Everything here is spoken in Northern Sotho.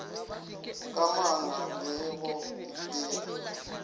ka manga le go epega